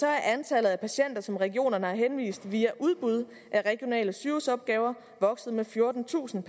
er antallet af patienter som regionerne har henvist via udbud af regionale sygehusopgaver vokset med fjortentusind